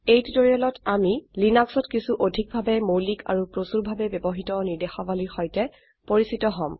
এই টিউটোৰিয়েলত আমি লিনাক্সত কিছু অধিক ভাবে মৌলিক আৰু প্ৰচুৰভাবে ব্যবহৃত ৰ্নিদেশাবলীৰ সৈতে পৰিচিত হম